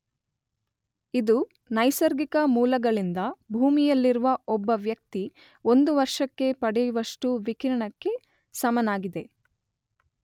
ಇದು ನೈಸರ್ಗಿಕ ಮೂಲಗಳಿಂದ ಭೂಮಿಯಲ್ಲಿರುವ ಒಬ್ಬ ವ್ಯಕ್ತಿ ಒಂದು ವರ್ಷಕ್ಕೆ ಪಡೆವಷ್ಟು ವಿಕಿರಣಕ್ಕೆ ಸಮನಾಗಿದೆ.